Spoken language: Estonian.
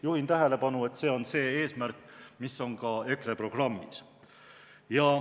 Juhin tähelepanu, et see on eesmärk, mis on ka EKRE programmis.